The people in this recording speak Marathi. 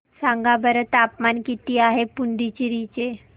सांगा बरं तापमान किती आहे पुडुचेरी चे